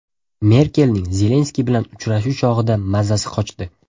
Merkelning Zelenskiy bilan uchrashuv chog‘ida mazasi qochdi.